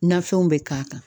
Nafɛnw bɛ k'a kan